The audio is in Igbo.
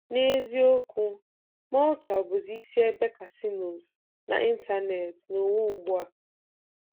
N’eziokwu, Malta bụzi isi ebe casinos n’ịntanetị n’ụwa ugbu a.